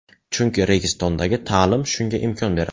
Chunki Registon’dagi ta’lim shunga imkon beradi.